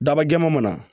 Daba jɛman mana